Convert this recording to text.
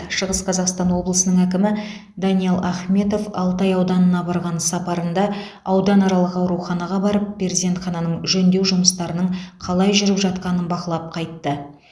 шығыс қазақстан облысының әкімі даниал ахметов алтай ауданына барған сапарында ауданаралық ауруханаға барып перзентхананың жөндеу жұмыстарының қалай жүріп жатқанын бақылап қайтты